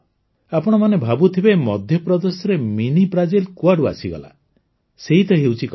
ଆପଣମାନେ ଭାବୁଥିବେ ମଧ୍ୟପ୍ରଦେଶରେ ମିନି ବ୍ରାଜିଲ୍ କୁଆଡ଼ୁ ଆସିଗଲା ସେଇତ ହେଉଛି କଥା